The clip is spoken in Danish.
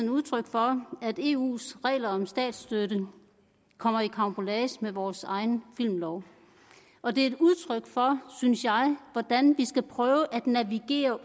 udtryk for at eus regler om statsstøtte kommer i karambolage med vores egen filmlov og det er et udtryk for synes jeg hvordan vi skal prøve at navigere